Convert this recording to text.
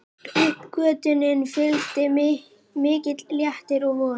Uppgötvuninni fylgdi mikill léttir og von.